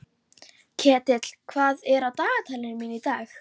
Ketill, hvað er á dagatalinu mínu í dag?